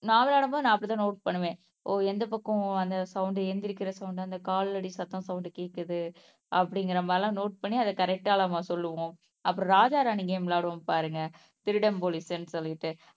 நா விளையாடும்போது நான் அப்படித்தான் நோட் பண்ணுவேன் ஓ எந்த பக்கம் அந்த சவுண்ட் எந்திரிக்கிற சவுண்ட் அந்த காலடி சத்தம் சவுண்ட் கேக்குது அப்படிங்கிற மாதிரி எல்லாம் நோட் பண்ணி அத கரெக்ட்டா நம்ம சொல்லுவோம். அப்புறம் ராஜா ராணி கேம் விளையாடுவோம் பாருங்க திருடன் போலீஸ்ன்னு சொல்லிட்டு